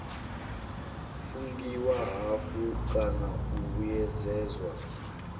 fungiwa hafhu kana u vhuyedzedzwa